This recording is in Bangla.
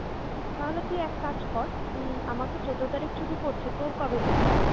তাহলে তুই এক কাজ কর আমার তো ১৪ তারিখে ছুটি পড়ছে, তোর কবে পড়ছে?